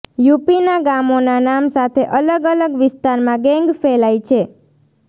યૂપીના ગામોના નામ સાથે અલગ અલગ વિસ્તારમાં ગેંગ ફેલાઇ છે